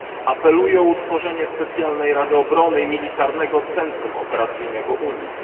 Apeluję o utworzenie specjalnej rady obrony i militarnego centrum operacyjnego Unii.